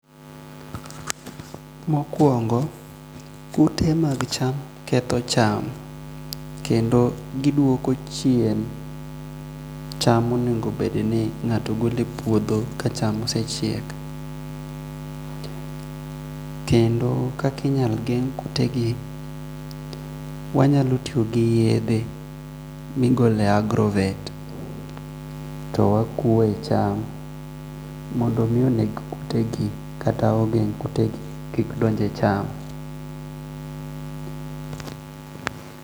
Mokwong'o kute mag cham ketho cham kendo giduoko chien cham monego bed ni ngato golo e puothe ka cham osechiek kendo kakinyalo geng' kute gi wanyalo tiyo gi yedhe migole agrovet to wa kwo e cham mondo mi oneg kuteka kata ogeng' kute kik bed e cham.